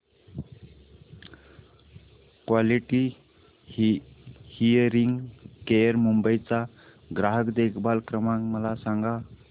quality hearing care Mumbai चा ग्राहक देखभाल क्रमांक मला सांगा